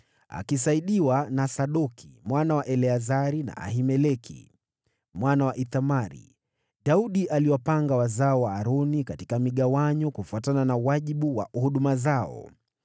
Akisaidiwa na Sadoki mwana wa Eleazari na Ahimeleki mwana wa Ithamari, Daudi aliwapanga wazao wa Aroni katika migawanyo kufuatana na wajibu wa huduma zao.